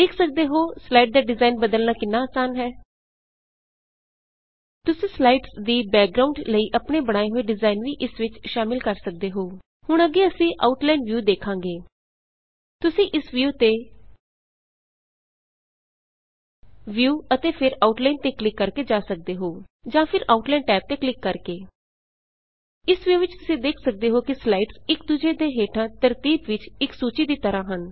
ਦੇਖ ਸਕਦੇ ਹੋਂ ਸਲਾਈਡ ਦਾ ਡਿਜ਼ਾਇਨ ਬਦਲਣਾ ਕਿੰਨਾ ਆਸਾਨ ਹੈ ਤੁਸੀ ਸਲਾਈਡਜ਼ ਦੀ ਬੈਕਗ੍ਰਾਉਂਡ ਲਈ ਆਪਣੇ ਬਣਾਏ ਹੋਏ ਡਿਜ਼ਾਇਨ ਵੀ ਇਸ ਵਿੱਚ ਸ਼ਾਮਿਲ ਕਰ ਸਕਦੇ ਹੋ ਹੁਣ ਅੱਗੇ ਅਸੀ ਆਊਟਲਾਈਨ ਵਿਯੂ ਦੇਖਾਂਗੇ ਤੁਸੀ ਇਸ ਵਿਯੂ ਤੇ ਵਿਯੂ ਅਤੇ ਫੇਰ ਆਊਟਲਾਈਨ ਤੇ ਕਲਿੱਕ ਕਰਕੇ ਜਾ ਸਕਦੇ ਹੋ ਜਾਂ ਫੇਰ ਆਊਟਲਾਈਨ ਟੈਬ ਤੇ ਕਲਿੱਕ ਕਰਕੇ ਇਸ ਵਿਯੂ ਵਿੱਚ ਤੁਸੀ ਦੇਖ ਸਕਦੇ ਹੋ ਕਿ ਸਲਾਈਡਜ਼ ਇਕ ਦੂਜੇ ਦੇ ਹੇਠਾਂ ਤਰਤੀਬ ਵਿਚ ਇਕ ਸੂਚੀ ਦੀ ਤਰਹ ਹਨ